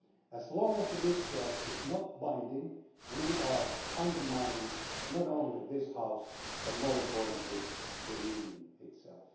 As long as the discharge is not binding, we are undermining not only this House but, more importantly, the Union itself.